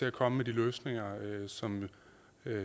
at komme med de løsninger som